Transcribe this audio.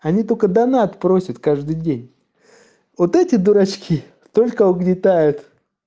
они только донат просят каждый день вот эти дурочки только угнетают